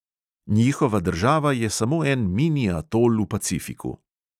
"Njihova država je samo en mini atol v pacifiku."